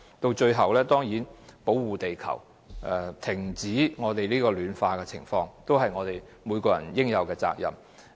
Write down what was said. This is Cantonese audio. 到最後，讓每個人負起對保護地球、停止全球暖化惡化所應有的責任。